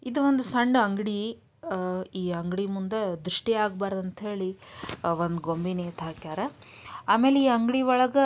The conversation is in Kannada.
ಈ ಇದು ಒಂದು ಸಣ್ಣ ಅಂಗಡಿ ಅಹ್ ಈ ಅಂಗಡಿ ಮುಂದ ದೃಷ್ಟಿ ಆಗಬಾರದು ಅಂತ ಹೇಳಿ ಒಂದು ಗೊಂಬೆ ನೇತ ಹಾಕ್ಯಾರ. ಆಮೇಲೆ ಅಂಗಡಿ ಒಳಗ--